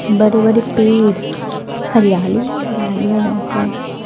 बड़े बड़े पेड़ हरियाली ही हरियाली है यहाँ पे --